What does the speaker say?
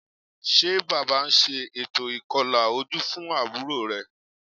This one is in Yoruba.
Ṣé Bàbá ń ṣe ètò ìkọlà ojú fún àbúrò rẹ̀?